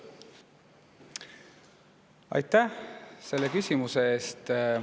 Aitäh selle küsimuse eest!